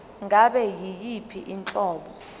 ngabe yiyiphi inhlobo